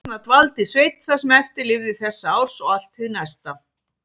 Þarna dvaldi Sveinn það sem eftir lifði þessa árs og allt hið næsta.